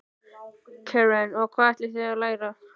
Karen: Og hvað ætlið þið að læra?